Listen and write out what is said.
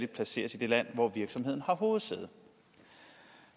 placeres i det land hvor virksomheden har hovedsæde